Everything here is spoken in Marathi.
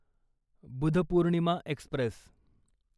बुधपूर्णिमा एक्स्प्रेस